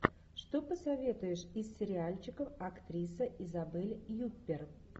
что посоветуешь из сериальчиков актриса изабель юппер